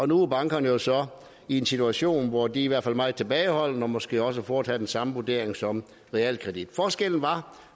nu er bankerne jo så i en situation hvor de i hvert fald er meget tilbageholdende og måske også vil foretage den samme vurdering som realkreditten forskellen